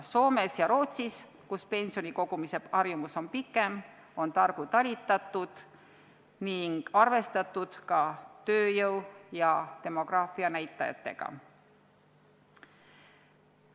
Ent Soomes ja Rootsis, kus pensioni kogumise harjumus on pikem, on targu talitatud ning arvestatud ka tööjõu ja demograafia näitajatega.